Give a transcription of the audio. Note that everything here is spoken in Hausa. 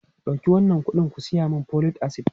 Dauki wannan kuɗin ku saya min folic acid!